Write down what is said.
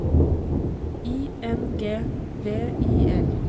I N G V I L